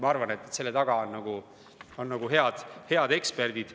Ma arvan, et eelnõu taga on head eksperdid.